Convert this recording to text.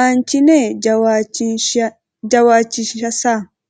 aanchine jawaachishinsa.